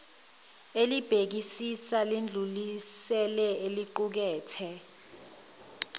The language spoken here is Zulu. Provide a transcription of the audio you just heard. elibhekisisa lidlulisele eliqukethe